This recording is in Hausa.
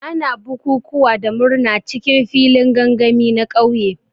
Ana bukukuwa da murna cikin filin gangami na ƙauye.